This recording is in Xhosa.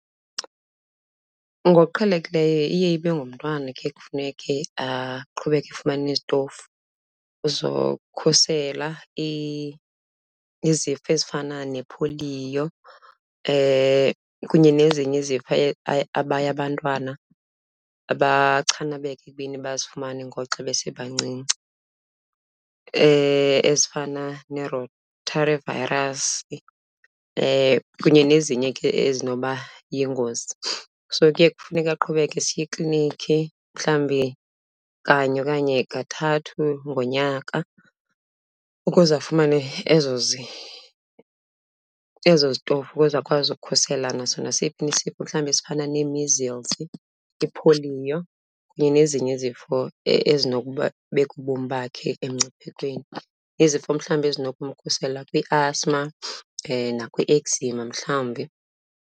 Ngokuqhelekileyo iye ibe ngumntwana khe kufuneke aqhubeke efumana izitofu zokhusela izifo ezifana nepholiyo kunye nezinye izifo abaye abantwana abachanabeka ekubeni bazifumane ngoxa besebancinci ezifana ne-rotavirus kunye nezinye ke ezinokuba yingozi. So kuye kufuneka aqhubeke esiya ekliniki mhlawumbi kanye okanye kathathu ngonyaka ukuze afumane ezo ezo zitofu ukuze akwazi ukukhusela naso nasiphi na isifo mhlawumbe esifana nee-measles, ipholiyo kunye nezinye izifo ezinokubeka ubomi bakhe emngciphekweni. Izifo mhlawumbi ezinokumkhusela kwi-asthma nakwi-eczema mhlawumbi.